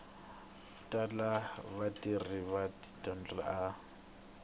tala vatirhi va tidokhumente a